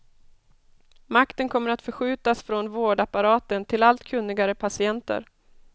Makten kommer att förskjutas från vårdapparaten till allt kunnigare patienter.